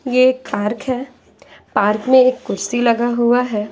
ये एक पार्क है पार्क में एक कुर्सी लगा हुआ है।